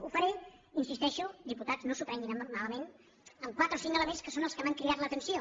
ho faré hi insisteixo diputats no s’ho prenguin malament amb quatre o cinc elements que són els que m’han cridat l’atenció